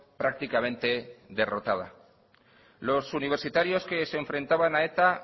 prácticamente derrotada los universitarios que se enfrentaban a eta